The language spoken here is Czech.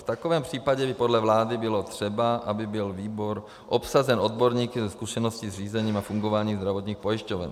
V takovém případě by podle vlády bylo třeba, aby byl výbor obsazen odborníky se zkušeností s řízením a fungováním zdravotních pojišťoven.